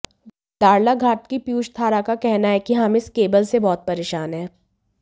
दाड़लाघाट की पीयूष धारा का कहना है कि हम इस केबल से बहुत परेशान है